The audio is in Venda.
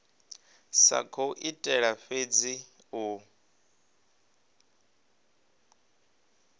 sa khou itela fhedzi u